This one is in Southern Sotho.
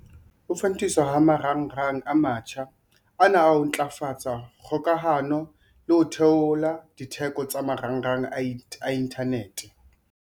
Ho fantiswa ha marangrang a mantjha ana ho tla ntlafatsa kgokahano le ho theola ditheko tsa marangrang a inthanete.